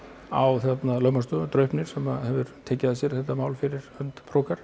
á lögmannsstofu Draupni sem hefur tekið að sér þetta mál fyrir hönd